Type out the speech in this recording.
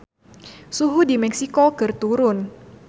Suhu di Meksiko keur turun